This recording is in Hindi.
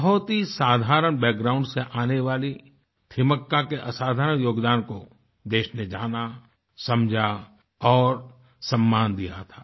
बहुत ही साधारण बैकग्राउंड से आने वाली थिमक्का के असाधारण योगदान को देश ने जाना समझा और सम्मान दिया था